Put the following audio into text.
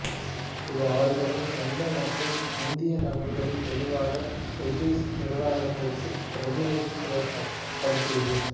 இது அவர்களின் சொந்த மற்றும் இந்திய நலன்களை பொதுவாக பிரிட்டிசு நிர்வாகத்திற்கு பிரதிநிதித்துவப்படுத்தியது